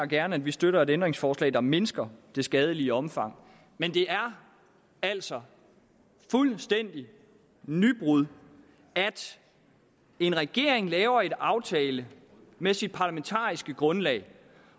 gerne at vi støtter et ændringsforslag der mindsker det skadelige omfang men det er altså et fuldstændigt nybrud at en regering laver en aftale med sit parlamentariske grundlag